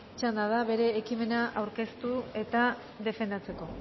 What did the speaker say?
txanda da bere ekimena aurkeztu eta defendatzeko